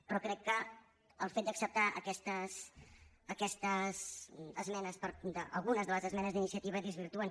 però crec que el fet d’acceptar aquestes esmenes algunes de les esmenes d’iniciativa ho desvirtuen